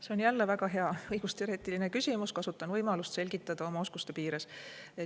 See on jälle väga hea õigusteoreetiline küsimus, kasutan võimalust selgitada seda oma oskuste piires.